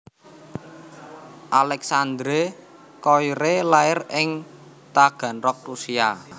Alexandre Koyré lair ing Taganrog Rusia